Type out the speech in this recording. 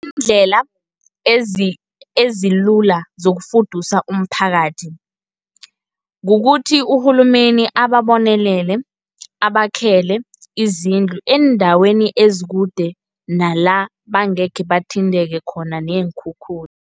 Iindlela, ezilula zokufudusa umphakathi, kukuthi urhulumeni ababonelele, abakhele izindlu, eendaweni ezikude nala bangekhe bathinteke khona neenkhukhula.